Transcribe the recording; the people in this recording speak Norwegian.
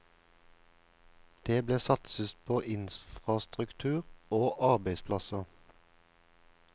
Det ble satset på infrastruktur og arbeidsplasser.